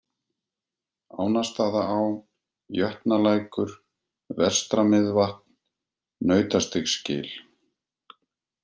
Ánastaðaá, Jötnalækur, Vestra-Miðvatn, Nautastígsgil